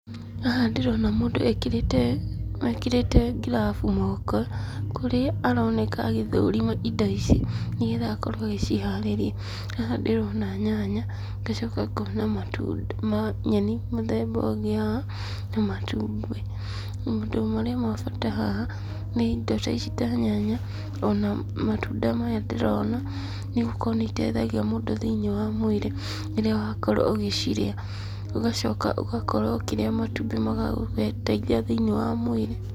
Haha ndĩrona mũndũ ekĩrĩte, ekĩrĩte ngirabu moko, kũrĩa aroneka agĩthũrima indo ici, nĩgetha akorwo agĩciharĩria. Haha ndĩrona nyanya, ngacoka ngona matunda ma nyeni mũthemba ũngĩ haha na matumbĩ. Maũndũ marĩa ma bata haha, nĩ indo ta ici ta nyanya, ona matunda maya ndĩrona, nĩ gũkorwo nĩ iteithagia mũndũ thĩinĩ wa mwĩrĩ, rĩrĩa wakorwo ũgĩcirĩa, ũgacoka ũgakorwo ũkĩrĩa matumbĩ magagũteithia thĩinĩ wa mwĩrĩ.